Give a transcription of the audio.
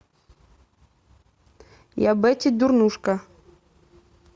я бетти дурнушка